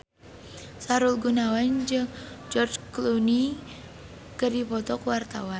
Sahrul Gunawan jeung George Clooney keur dipoto ku wartawan